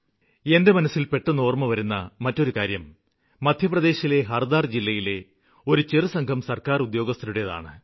എന്റെ മനസ്സില് പെട്ടെന്ന് ഓര്മ്മവരുന്ന മറ്റൊരു കാര്യം മധ്യപ്രദേശിലെ ഹര്ദാ ജില്ലയിലെ ഒരു ചെറുസംഘം സര്ക്കാര് ഉദ്യോഗസ്ഥരുടേതാണ്